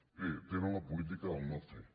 bé tenen la política del no fer